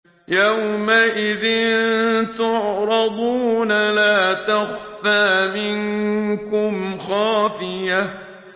يَوْمَئِذٍ تُعْرَضُونَ لَا تَخْفَىٰ مِنكُمْ خَافِيَةٌ